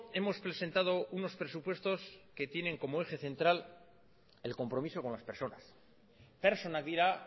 hemos presentado unos presupuestos que tienen como eje central el compromiso con las personas pertsonak dira